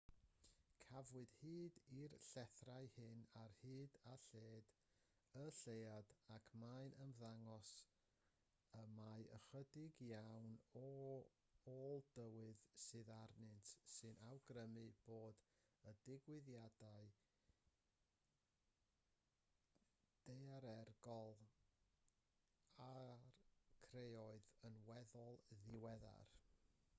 cafwyd hyd i'r llethrau hyn ar hyd a lled y lleuad ac mae'n ymddangos mai ychydig iawn o ôl tywydd sydd arnynt sy'n awgrymu bod y digwyddiadau daearegol a'u creodd yn weddol ddiweddar